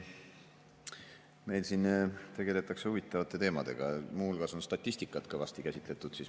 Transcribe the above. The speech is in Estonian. Meil siin tegeletakse huvitavate teemadega, muu hulgas on statistikat kõvasti käsitletud.